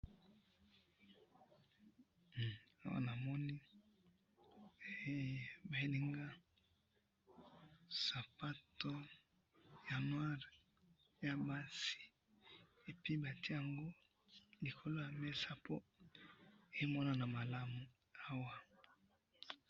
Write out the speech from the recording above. Nazomona foto yasapato ya noir yabasi, batye yango likolo namesa mpo emonana malamu